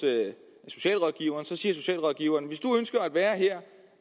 socialrådgiveren så socialrådgiveren hvis du ønsker at være her